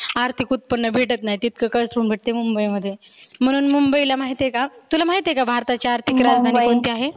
आर्थीक उत्पन्न भेटत नाही तितक भेटतं मुंबई मध्ये. म्हणून मुंबईला माहिती आहे का? तुला महिती आहे का भारताची आर्थीक राजधानी मुंबई आहे.